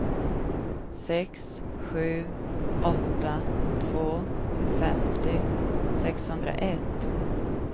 sex sju åtta två femtio sexhundraett